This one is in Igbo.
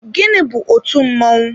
Gịnị bu otú mmọnwụ?